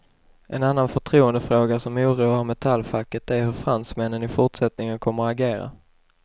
En annan förtroendefråga som oroar metallfacket är hur fransmännen i fortsättningen kommer att agera.